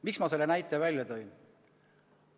Miks ma selle näite välja tõin?